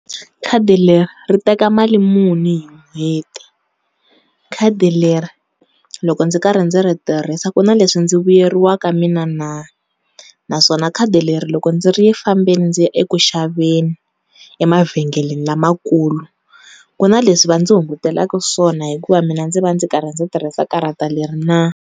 Khadi leri ri teka mali muni hi n'hweti? Khadi leri loko ndzi karhi ndzi ri tirhisa ku na leswi ndzi vuyeriwaka mina na? Naswona khadi leri loko ndzi ri fambile ndzi ya eku xaveni emavhengeleni lamakulu ku na leswi va ndzi hungutelaka swona hikuva mina ndzi va ndzi karhi ndzi tirhisa karhata leri na?